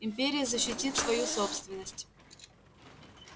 империя защитит свою собственность